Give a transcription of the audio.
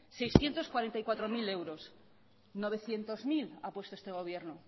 seiscientos cuarenta y cuatro mil euros novecientos mil ha puesto este gobierno